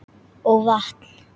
Og vatn.